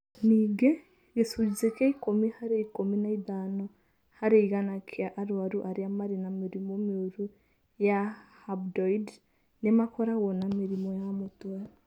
Ningĩ, gĩcunjĩ kĩa ikũmi harĩ ikũmi na ithano harĩ igana kĩa arũaru arĩa marĩ na mĩrimũ mĩũru ya rhabdoid nĩ makoragwo na mĩrimũ ya mũtwe.